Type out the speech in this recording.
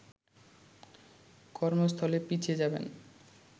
কর্মস্থলে পিছিয়ে যাবেন